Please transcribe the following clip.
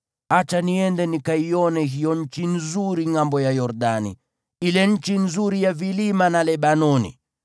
Acha niende nikaione hiyo nchi nzuri ngʼambo ya Yordani, ile nchi nzuri ya vilima na Lebanoni.”